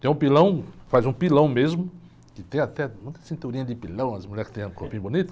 Tem um pilão, faz um pilão mesmo, que tem até muita cinturinha de pilão, as mulheres que têm um corpinho bonito.